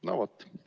No vot.